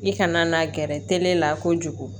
I kana na gɛrɛ tele la kojugu